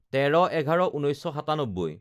১৩/১১/১৯৯৭